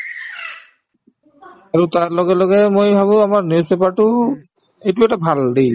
আৰু তাৰ লগে লগে মই ভাবো আমাৰ newspaper তোও এইটো এটা ভাল দেই